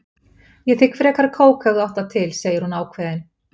Ég þigg frekar kók ef þú átt það til, segir hún ákveðin.